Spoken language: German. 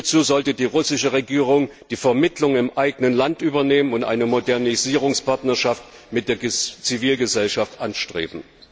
Hierzu sollte die russische Regierung die Vermittlung im eigenen Land übernehmen und eine Modernisierungspartnerschaft mit der Zivilgesellschaft anstreben.